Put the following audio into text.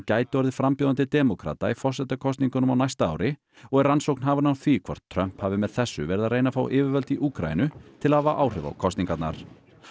gæti orðið frambjóðandi demókrata í forsetakosningunum á næsta ári og er rannsókn hafin á því hvort Trump hafi með þessu verið að reyna að fá yfirvöld í Úkraínu til að hafa áhrif á kosningarnar